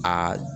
Aa